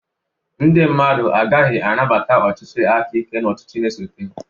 Ndị mmadụ agaghị anabata ọchịchị aka ike n'ọchịchị na-esote